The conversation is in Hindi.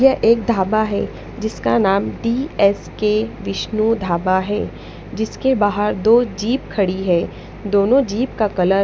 ये एक धाबा है जिसका नाम D S K Vishnu dhaba है जिसके बाहर दो जीप खड़ी है दोनों जीप का कलर --